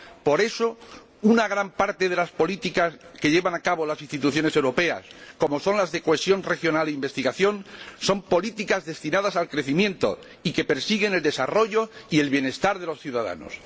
Por eso, una gran parte de las políticas que llevan a cabo las instituciones europeas —como son las de cohesión, regional e investigación— son políticas destinadas al crecimiento y persiguen el desarrollo y el bienestar de los ciudadanos.